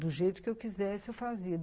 Do jeito que eu quisesse, eu fazia.